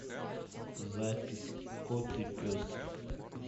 запись кот и пес